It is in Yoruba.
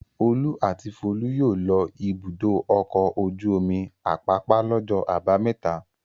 Olú àti Folú yóò lọ Ibùdó-ọkọ̀ ojú-omi Àpápá lọ́jọ́ àbámẹ́ta.